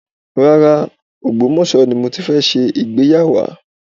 Rárá, Ògbómọ̀sọ́ ni mo ti fẹ́ ṣe ìgbéyàwá